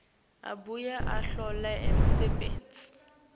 abuye ahlole umsebenti